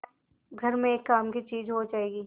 घर में एक काम की चीज हो जाएगी